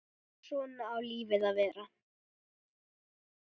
Svona á lífið að vera.